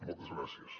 moltes gràcies